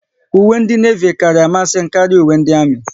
Uwe ndị Nevi kara amasị m karịa uwe ndị Armi